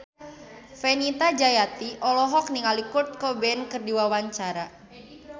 Fenita Jayanti olohok ningali Kurt Cobain keur diwawancara